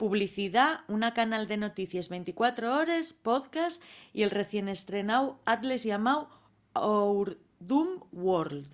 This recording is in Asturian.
publicidá una canal de noticies 24 hores podcast y el recién estrenáu atles llamáu our dumb world